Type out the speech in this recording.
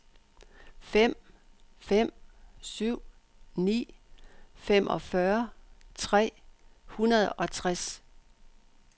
fem fem syv ni femogfyrre tre hundrede og tres